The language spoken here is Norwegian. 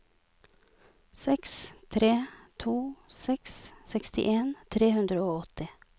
seks tre to seks sekstien tre hundre og åtti